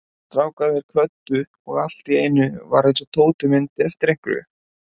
Strákarnir kvöddu og allt í einu var eins og Tóti myndi eftir einhverju.